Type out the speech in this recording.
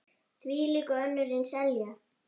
Þvílík og önnur eins elja.